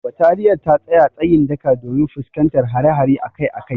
Bataliyar ta tsaya tsayin daka domin fuskantar hare-hare akai akai.